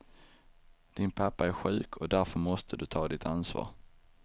Din pappa är sjuk och därför måste du ta ditt ansvar.